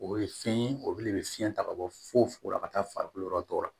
O ye fɛn ye o de bɛ fiɲɛ ta ka bɔ fu fuko la ka taa farikolo yɔrɔ dɔ la